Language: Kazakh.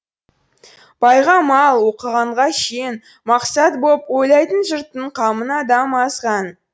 байға мал оқығанға шен мақсат боп ойлайтын жұрттың қамын адам азған